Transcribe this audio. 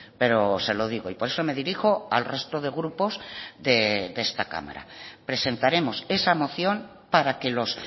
pero se lo digo y por eso me dirijo al resto de grupos de esta cámara presentaremos esa moción para que los